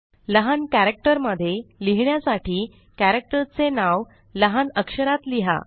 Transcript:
लहान कॅरक्टर मध्ये लिहिण्यासाठी कॅरक्टर चे नाव लहान अक्षरात लिहा